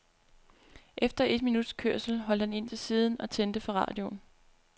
Efter et minuts kørsel holdt han ind til siden og tændte for radioen.